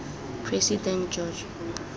president george